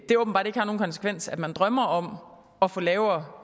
det åbenbart ikke har nogen konsekvenser at man drømmer om at få lavere